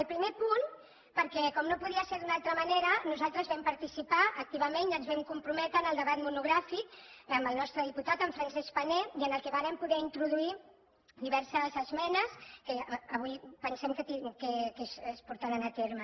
al primer punt perquè com no podia ser d’una altra manera nosaltres vam participar activament i ens hi vam comprometre en el debat monogràfic amb el nostre diputat en francesc pané i en el qual vàrem poder introduir diverses esmenes que avui pensem que es portaran a terme